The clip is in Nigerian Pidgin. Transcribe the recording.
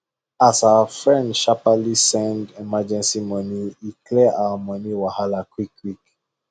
as our friend sharperly send emergency money e clear our money wahala quickquick